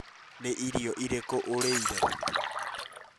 Nĩ irio irĩkũ ũrĩire?